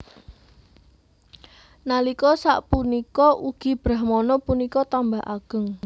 Nalika sapunika ugi Brahmana punika tambah ageng